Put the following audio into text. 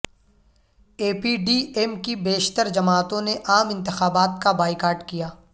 اے P D M کی بیشتر جماعتوں نے عام انتخابات کا بائیکاٹ کیا